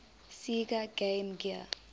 sega game gear